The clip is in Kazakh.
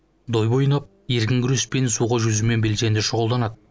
дойбы ойнап еркін күреспен суға жүзумен белсенді шұғылданады